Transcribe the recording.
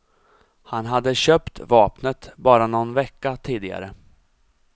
Han hade köpt vapnet bara någon vecka tidigare.